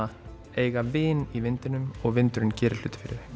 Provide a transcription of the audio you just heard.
eiga vin í vindinum og vindurinn gerir hluti fyrir þau